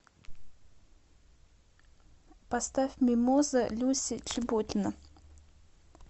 поставь мимоза люся чеботина